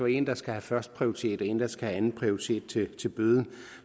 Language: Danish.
en der skal have førsteprioritet og en der skal have anden prioritet til til bøden